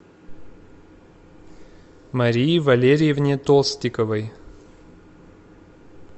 марии валерьевне толстиковой